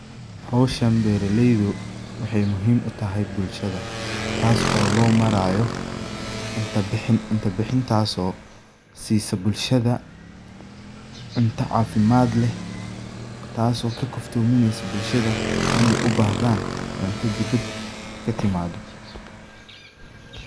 hoshan beraleydu waxay muhiim utahay bulshada, taaso oo loo maraayo cunta bixin, cunta bixintaaso siiso bulshada cunta caafimaad leh taaso ka kaftoomineyso bulshada inay ubahdaan cunto dibad katimaado